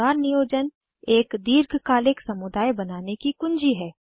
परिवार नियोजन एक दीर्घकालिक समुदाय बनाने की कुँजी है